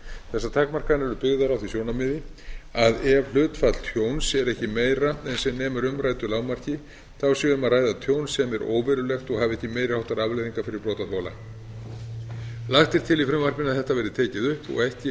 þessar takmarkanir eru byggðar á því sjónarmiði að ef hlutfall tjóns er ekki meira en sem nemur umræddu lágmarki sé um að ræða tjón sem er óverulegt og hafi ekki meiri háttar afleiðingar fyrir brotaþola lagt er til í frumvarpinu að þetta verði tekið upp og ekki